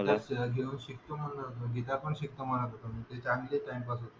, शिकतो म्हणाला, , चांगला टाइमपास होतो.